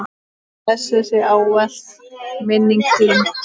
Blessuð sé ávallt minning þín.